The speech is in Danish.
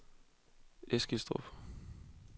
Eskilstrup